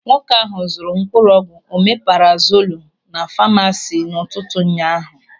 Nwoke ahụ zụrụ mkpụrụ ọgwụ omeparazolu na famasi n'ụtụtụ ụnyaahụ.